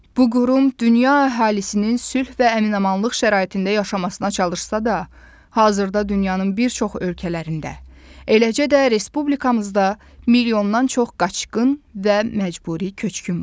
Bu qurum dünya əhalisinin sülh və əmin-amanlıq şəraitində yaşamasına çalışsa da, hazırda dünyanın bir çox ölkələrində, eləcə də respublikamızda milyondan çox qaçqın və məcburi köçkün var.